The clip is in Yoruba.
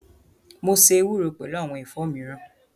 Mo ṣe ewúro pẹlu awọn ẹ̀fọ́ miran